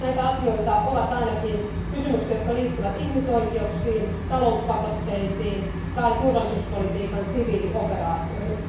Näitä asioita ovat ainakin kysymykset, jotka liittyvät ihmisoikeuksiin, talouspakotteisiin tai turvallisuuspolitiikan siviilioperaatioihin.